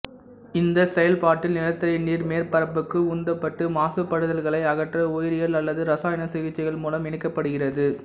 இந்தச் செயல்பாட்டில் நிலத்தடி நீர் மேற்பரப்புக்கு உந்தப்பட்டு மாசுபடுதல்களை அகற்ற உயிரியல் அல்லது இரசாயன சிகிச்சைகள் மூலம் இணைக்கப்படுகிறது